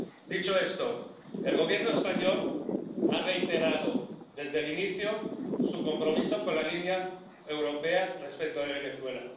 Dicho esto, el Gobierno español ha reiterado, desde el inicio, su compromiso con la línea europea respecto de Venezuela.